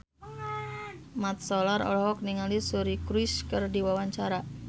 Mat Solar olohok ningali Suri Cruise keur diwawancara